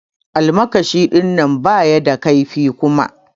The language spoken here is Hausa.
Almakashi dinnan baya da kaifi Kuma.